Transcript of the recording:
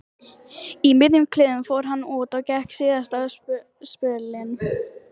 Í miðjum klíðum fór hann út og gekk síðasta spölinn.